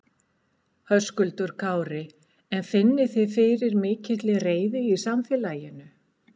Höskuldur Kári: En finnið þið fyrir mikilli reiði í samfélaginu?